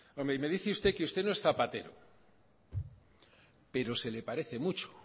y me dice usted que usted no es zapatero pero se le parece mucho